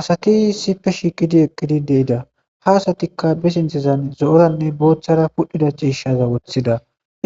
asati sipe shiiqidi eqqidi deida ha asatikka be sinthezan zo7oranne booththara pudhida ciishaza woththida